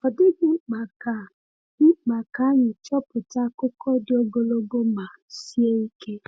Ọ dịghị mkpa ka mkpa ka anyị chepụta akụkọ dị ogologo ma sie ike.